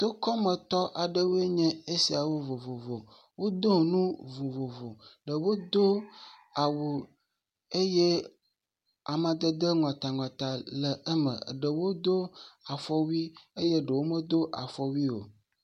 Tokɔmetɔ aɖewoe nye esiawo vovovo wodo nu vovovo ɖewo do awu eye amadede ŋɔtaŋɔta le eme ɖeow do afɔwui eye ɖewo medo afɔwui o.